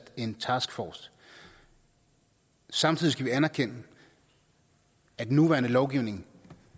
en taskforce samtidig skal vi anerkende at den nuværende lovgivning